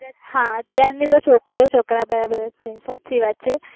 હા અત્યાર ની છોકરીઓ છોકરાના બરાબર છે સાચી વાત છે